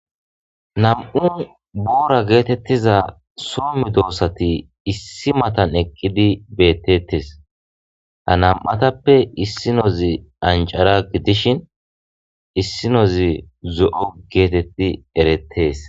nam'u boora geetettiza soo medoossati issi matan eqqidi bettettes ha nam7atappe issinozi ancara gidishin issinozi zo7o geetetti erettes